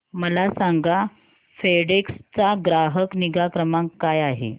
मला सांगा फेडेक्स चा ग्राहक निगा क्रमांक काय आहे